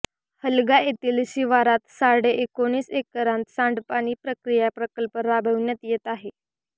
हलगा येथील शिवारात साडे एकोणीस एकरांत सांडपाणी प्रक्रिया प्रकल्प राबविण्यात येत आहे